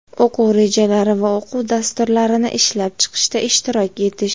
o‘quv rejalari va o‘quv dasturlarini ishlab chiqishda ishtirok etish;.